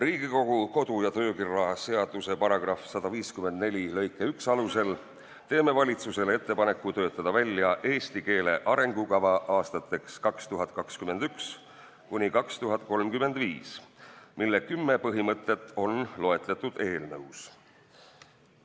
Riigikogu kodu- ja töökorra seaduse § 154 lõike 1 alusel teeme valitsusele ettepaneku töötada välja eesti keele arengukava aastateks 2021–2035, mille kümme põhimõtet on loetletud eelnõus.